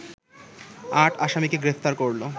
আট আসামিকে গ্রেপ্তার করলো